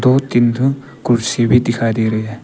और तीन ठो कुर्सी भी दिख रही है।